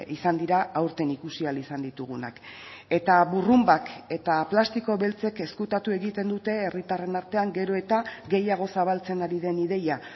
izan dira aurten ikusi ahal izan ditugunak eta burrunbak eta plastiko beltzek ezkutatu egiten dute herritarren artean gero eta gehiago zabaltzen ari den ideia